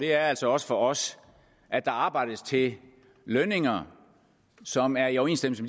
er altså også for os at der arbejdes til lønninger som er i overensstemmelse